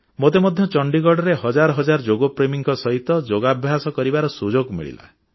ମୋତେ ମଧ୍ୟ ଚଣ୍ଡିଗଡ଼ରେ ହଜାର ହଜାର ଯୋଗ ପ୍ରେମୀଙ୍କ ସହିତ ଯୋଗାଭ୍ୟାସ କରିବାର ସୁଯୋଗ ମିଳିଲା